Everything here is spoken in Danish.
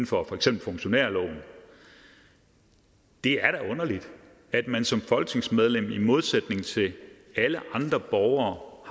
for eksempel funktionærloven det er da underligt at man som folketingsmedlem i modsætning til alle andre borgere